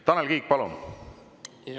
Tanel Kiik, palun!